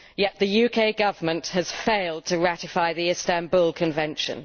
Yet the UK Government has failed to ratify the Istanbul Convention.